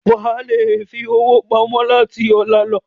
Wà á le fi owó pamọ́ láti ọ̀la lọ.